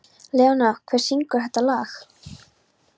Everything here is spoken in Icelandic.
Leóna, hver syngur þetta lag?